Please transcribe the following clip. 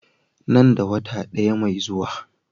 Nan da wata ɗaya mai zuwa.